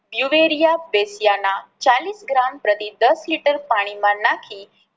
ચાલીસ ગ્રામ પ્રતિ દસ લિટર પાણી માં નાખી